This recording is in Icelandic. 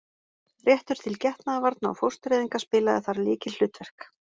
Réttur til getnaðarvarna og fóstureyðinga spilaði þar lykilhlutverk.